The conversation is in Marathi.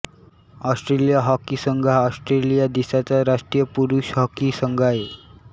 ऑस्ट्रेलिया हॉकी संघ हा ऑस्ट्रेलिया देशाचा राष्ट्रीय पुरुष हॉकी संघ आहे